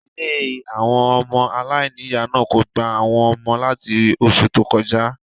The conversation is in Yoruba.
Ilé àwọn ọmọ aláìníìyá náà kò gba àwọn ọmọ láti osù tó kọjá.